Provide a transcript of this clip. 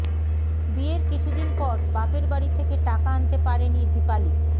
বিয়ের কিছুদিন পর বাপের বাড়ি থেকে টাকা আনতে পারেনি দিপালী